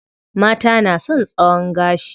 Mata na son tsayon gashi.